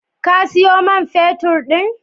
Ka sayo man feturn din?